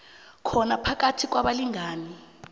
khona phakathi kwabalingani